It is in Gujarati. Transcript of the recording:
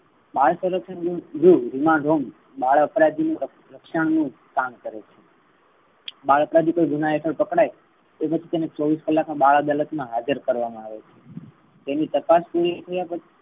બાર વરસ સુધીના બાળ અપરાધી ના રક્ષણ નુ કામ કરે છે. બાળ અપરાધી કોઈ ગુનાહ કરતો પકડાઈ તો તેને ચોવીસ કલાક મા બાળ અદાલત મા હાજર કરવામા આવે છે. તેની તપાસની થયા પછી